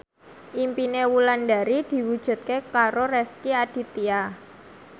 impine Wulandari diwujudke karo Rezky Aditya